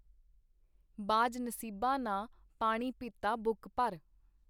ਬਾਝ ਨਸੀਬਾਂ ਨਾ ਪਾਣੀ ਪੀਤਾ ਬੁੱਕ ਭਰ.